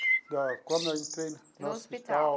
Da como eu entrei no hospital?